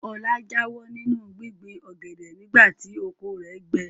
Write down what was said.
Ọlá jáwọ́ nínú gbíngbin ọ̀gẹ̀dẹ̀ nìgbà tí oko rẹ̀ gbẹ.